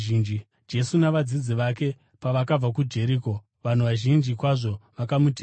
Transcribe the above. Jesu navadzidzi vake pavakabva kuJeriko, vanhu vazhinji kwazvo vakamutevera.